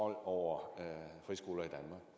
hvor man